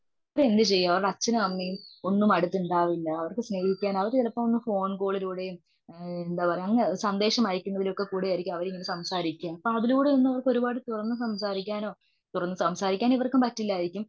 അവരെന്തു ചെയ്യും. അവരുടെ അച്ഛനും അമ്മയും ഒന്നും അടുത്തുണ്ടാവില്ല. അവർക്ക് സ്നേഹിക്കാൻ അവര് ചിലപ്പോൾ ഒന്ന് ഫോൺ കോളിലൂടെയും എന്താ പറയുക അങ്ങ് സന്ദേശം അയക്കുന്നതിലൊക്കെക്കൂടെയായിരിക്കും അവരിങ്ങനെ സംസാരിക്കുന്നതു. അതിലൂടെയൊക്കെ അവർക്ക് തുറന്ന് സംസാരിക്കാനോ? തുറന്നു സംസാരിക്കാൻ ഇവർക്കും പറ്റില്ലായിരിക്കും.